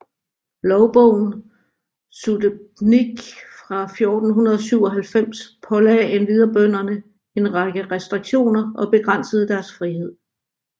Lovbogen Sudebnik fra 1497 pålagde endvidere bønderne en række restriktioner og begrænsede deres friheder